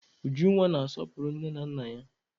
Ujunwa ọ na-asọpụrụ nne na nna ya?